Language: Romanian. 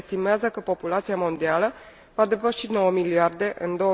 Se estimează că populația mondială va depăși 9 miliarde în